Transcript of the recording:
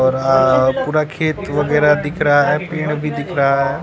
और हां पूरा खेत वगैर भी दिख रहा है पेड़ भी दिख रहा है।